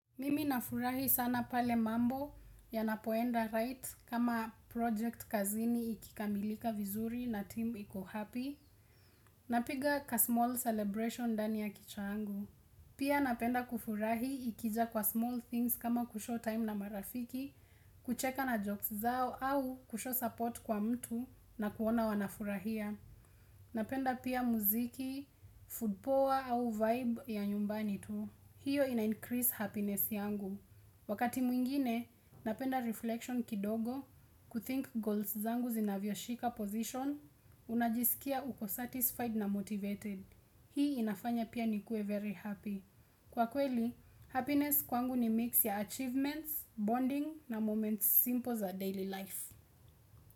Mimi nafurahi sana pale mambo ya napoenda right kama project kazini ikikamilika vizuri na team iko happy na piga ka small celebration ndani ya kichwa yangu Pia napenda kufurahi ikija kwa small things kama kushow time na marafiki kucheka na jokes zao au kushow support kwa mtu na kuona wanafurahia Napenda pia muziki, food power au vibe ya nyumbani tu hiyo ina increase happiness yangu Wakati mwingine, napenda reflection kidogo, kuthink goals zangu zinavyo shika position, unajisikia uko satisfied na motivated. Hii inafanya pia ni kuwe very happy. Kwa kweli, happiness kwangu ni mix ya achievements, bonding na moments simple za daily life.